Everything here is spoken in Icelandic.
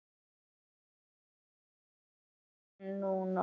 Ég les það ekki núna.